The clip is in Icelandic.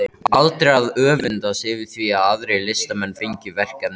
Aldrei að öfundast yfir því að aðrir listamenn fengju verkefni.